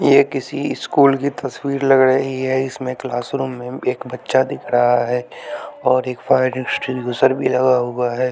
यह किसी स्कूल की तस्वीर लग रही है इसमें क्लासरूम में एक बच्चा दिख रहा है और एक फायर एक्सटिंग्विशर भी लगा हुआ है।